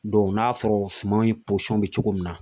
n'a sɔrɔ suman in bɛ cogo min na